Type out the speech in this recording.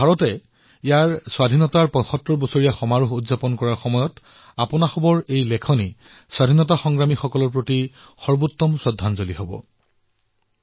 ভাৰতে নিজৰ ৭৫তম স্বতন্ত্ৰতা দিৱস পালন কৰাৰ সময়ত আপোনালোকৰ লেখনী স্বাধীনতাৰ নায়কসকলৰ প্ৰতি উত্তম শ্ৰদ্ধাঞ্জলি হিচাপে বিবেচিত হব